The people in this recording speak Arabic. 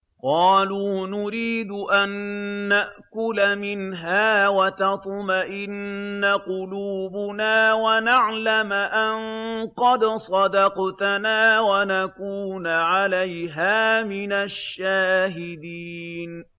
قَالُوا نُرِيدُ أَن نَّأْكُلَ مِنْهَا وَتَطْمَئِنَّ قُلُوبُنَا وَنَعْلَمَ أَن قَدْ صَدَقْتَنَا وَنَكُونَ عَلَيْهَا مِنَ الشَّاهِدِينَ